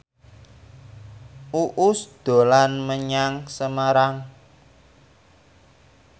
Uus dolan menyang Semarang